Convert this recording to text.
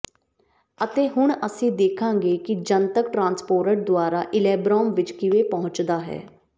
ਅਤੇ ਹੁਣ ਅਸੀਂ ਦੇਖਾਂਗੇ ਕਿ ਜਨਤਕ ਟ੍ਰਾਂਸਪੋਰਟ ਦੁਆਰਾ ਇਲੈਬ੍ਰਾਮ ਵਿੱਚ ਕਿਵੇਂ ਪਹੁੰਚਣਾ ਹੈ